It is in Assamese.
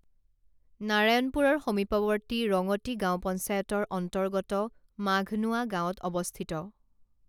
নাৰায়ণপুৰৰ সমিপৱৰ্তী ৰঙতি গাঁও পঞ্চায়তৰ অৰ্ন্তগত মাঘনোৱা গাঁৱত অৱস্থিত